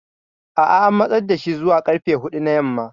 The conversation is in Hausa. A'a an matsar da shi zuwa karfe hudu na yamma.